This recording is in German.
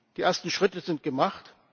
Die ersten Schritte sind gemacht.